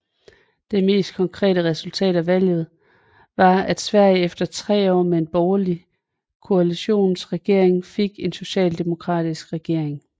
Det mest konkret resultat af valget var at Sverige efter tre år med en borgerlig koalitionsregering fik en socialdemokratisk regering